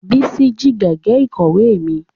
Bísí jí gègé ìkọ̀wé mi